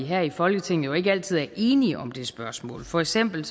her i folketinget jo ikke altid er enige om det spørgsmål for eksempel